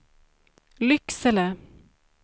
Lycksele